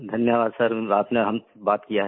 धन्यवाद सर आपने हमसे बात किया है